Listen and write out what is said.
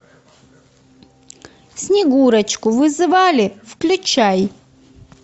снегурочку вызывали включай